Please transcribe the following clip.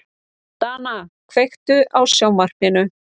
Dana, kveiktu á sjónvarpinu.